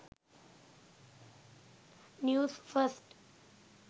news 1st